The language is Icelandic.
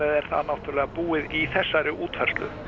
er það náttúrlega búið í þessari útfærslu